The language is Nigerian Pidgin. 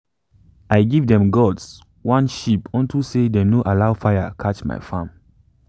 i give them gods one sheep onto say them no allow my farm catch fire.